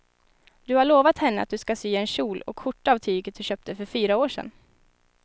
Du har lovat henne att du ska sy en kjol och skjorta av tyget du köpte för fyra år sedan.